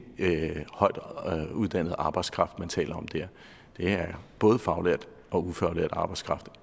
højt uddannet arbejdskraft man taler om der det er både faglært og ufaglært arbejdskraft